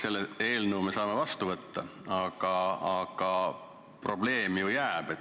Selle eelnõu me saame vastu võtta, aga probleem ju jääb.